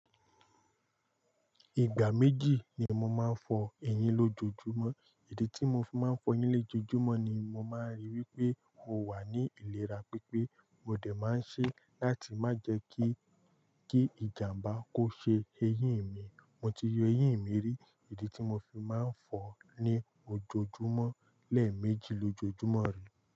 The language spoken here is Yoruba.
Ìgbà méjì ni mo máa ń fọ ẹyín lójoojúmọ́. Ìdí tí mo fi máa ń fọ ẹyín lé lojoojúmọ́ ni mo máa ń ríi wípé o wà ní ìlera pípé. Mo dẹ̀ máa ń ṣe láti má jẹ́ kí, kí ìjàmbá kó ṣe eyín mi. Mo ti yọ eyín mi rí. Ìdí tí mo fi máa ń fọ ní ojoojúmọ́ lẹ́ẹ̀ méjì lójoojúmọ́ rí.